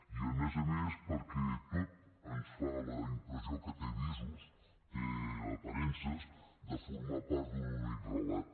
i a més a més perquè tot ens fa la impressió que té visos té aparences de formar part d’un únic relat